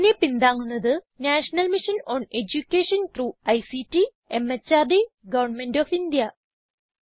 ഇതിനെ പിന്താങ്ങുന്നത് national mission on education through ICT MHRD government of India